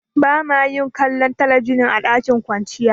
Ba ma yin kallon talabijin a dakin kwanciya.